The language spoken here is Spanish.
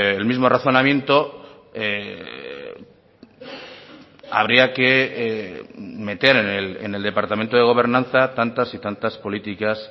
el mismo razonamiento habría que meter en el departamento de gobernanza tantas y tantas políticas